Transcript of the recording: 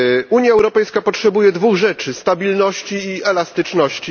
Unia Europejska potrzebuje dwóch rzeczy stabilności i elastyczności.